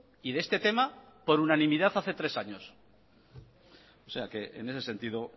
y de este tema por unanimidad hace tres años o sea que en ese sentido